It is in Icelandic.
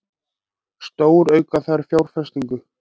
Stórauka þarf fjárfestingu